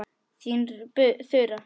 Þín Þura.